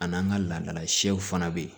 A n'an ka ladala siyɛw fana bɛ yen